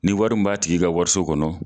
Ni wari mun b'a tigi ka wariso kɔnɔ